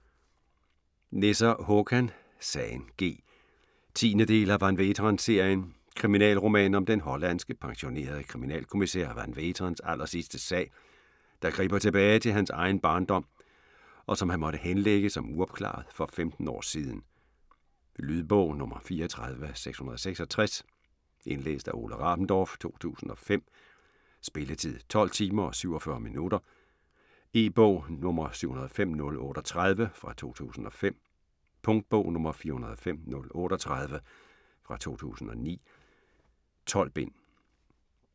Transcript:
Nesser, Håkan: Sagen G 10. del af Van Veeteren-serien. Kriminalroman om den hollandske pensionerede kriminalkommissær Van Veeterens allersidste sag, der griber tilbage til hans egen barndom, og som han måtte henlægge som uopklaret for femten år siden. Lydbog 34666 Indlæst af Ole Rabendorf, 2005. Spilletid: 12 timer, 47 minutter. E-bog 705038 2005. Punktbog 405038 2009. 12 bind.